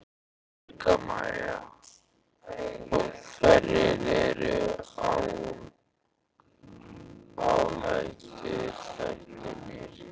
Helga María: Og hverjir eru áhættuþættirnir?